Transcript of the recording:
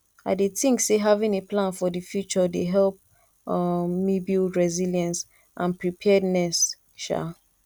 i dey think say having a plan for di future dey help um me build resilience and preparedness um